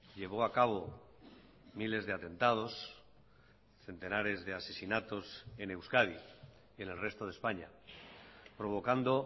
llevó a cabo miles de atentados centenares de asesinatos en euskadi y en el resto de españa provocando